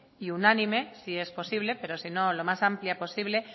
y unánime si es posible pero si no lo más amplia posible